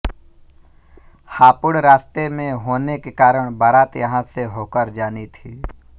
हापुड़ रास्ते में होने के कारण बारात यहाँ से होकर जानी थी